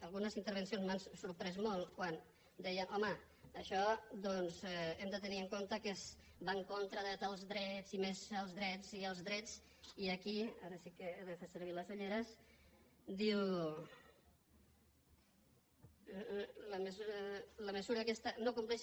algunes intervencions m’han sorprès molt quan deien home això doncs hem de tenir en compte que va en contra de tals drets i més els drets i els drets i aquí ara sí que he de fer servir les ulleres diu la mesura aquesta no compleix